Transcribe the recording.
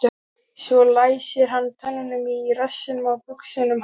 Svo læsir hann tönnunum í rassinn á buxunum hans.